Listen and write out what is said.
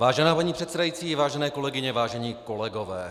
Vážená paní předsedající, vážené kolegyně, vážení kolegové.